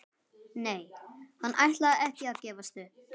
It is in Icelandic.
Nei, hann ætlaði ekki að gefast upp.